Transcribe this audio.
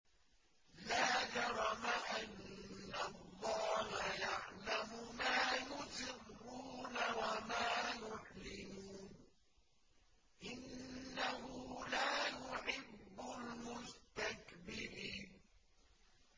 لَا جَرَمَ أَنَّ اللَّهَ يَعْلَمُ مَا يُسِرُّونَ وَمَا يُعْلِنُونَ ۚ إِنَّهُ لَا يُحِبُّ الْمُسْتَكْبِرِينَ